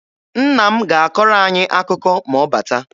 Nna m ga-akọrọ anyị akụkọ ma ọ bata.